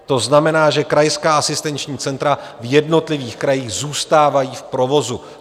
To znamená, že krajská asistenční centra v jednotlivých krajích zůstávají v provozu.